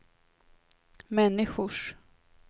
människors